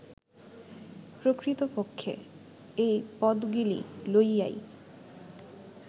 প্রকৃতপক্ষে, এই পদগিলি লইয়াই